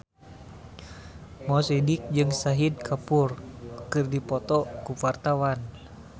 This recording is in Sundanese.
Mo Sidik jeung Shahid Kapoor keur dipoto ku wartawan